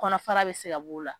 Kɔnɔ fara bɛ se ka b'o la.